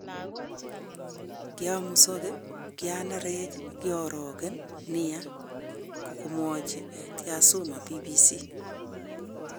Kiomusoge, kianerech ,kiorogen nia,"komwochi Tyasutami BBC.